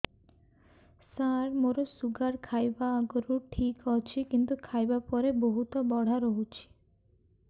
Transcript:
ସାର ମୋର ଶୁଗାର ଖାଇବା ଆଗରୁ ଠିକ ଅଛି କିନ୍ତୁ ଖାଇବା ପରେ ବହୁତ ବଢ଼ା ରହୁଛି